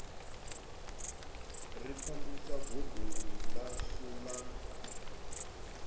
ri pambusa godoni ḽashu la